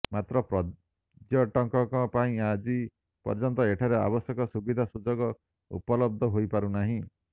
ମାତ୍ର ପର୍ଯ୍ୟଟକଙ୍କ ପାଇଁ ଆଜି ପର୍ଯ୍ୟନ୍ତ ଏଠାରେ ଆବଶ୍ୟକ ସୁବିଧା ସୁଯୋଗ ଉପଲବ୍ଧ ହୋଇ ପାରୁନାହିଁ